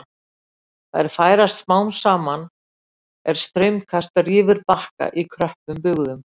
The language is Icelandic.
Þær færast smám saman er straumkast rýfur bakka í kröppum bugðum.